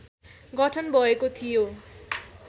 गठन भएको थियो।